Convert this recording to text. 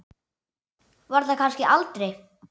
Var þar kannski aldrei?